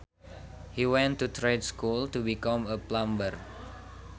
He went to trade school to become a plumber